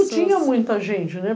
Não tinha muita gente, né?